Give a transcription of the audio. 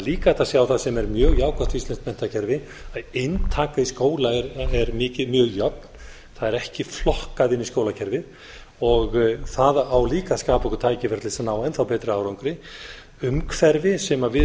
líka hægt að sjá það sem er mjög jákvætt við íslenskt menntakerfi að inntaka í skóla er mjög jöfn það er ekki flokkað inn í skólakerfið það á líka að skapa okkur tækifæri til þess að ná enn þá betri árangri umhverfi sem við